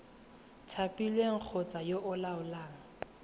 thapilweng kgotsa yo o laolang